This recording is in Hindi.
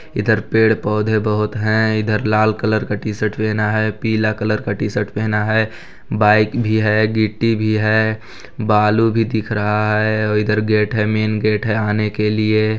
इधर पेड़- पौधे बहुत है इधर लाल कलर का टी_शर्ट पहना है पीला कलर का टी_शर्ट पहना है बाईक भी है गिट्टी भी है बालू भी दिख रहा है और इधर गेट है मेन गेट है आने के लिए--